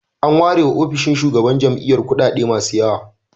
An ware wa ofishin shugaban jami'ar kuɗaɗe masu yawa.